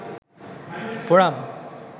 forum